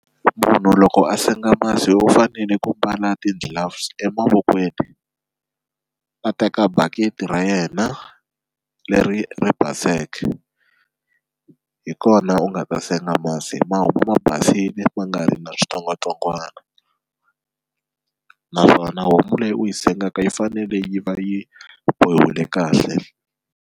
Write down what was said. Munhu loko a senga masi u fanele ku mbala ti-gloves emavokweni a teka bakiti ra yena leri ri baseke hi kona u nga ta senga masi ma homu ma basile ma nga ri na switsongwatsongwana naswona homu leyi u yi sengeka yi fanele yi va yi bohiwile kahle.